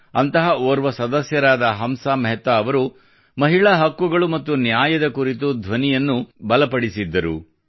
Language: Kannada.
ಅಂತಹ ಓರ್ವ ಸದಸ್ಯರಾದ ಹಂಸಾ ಮೆಹ್ತಾ ಅವರು ಮಹಿಳಾ ಹಕ್ಕುಗಳು ಮತ್ತು ನ್ಯಾಯದ ಕುರಿತು ಧ್ವನಿಯನ್ನು ಬಲಪಡಿಸಿದ್ದರು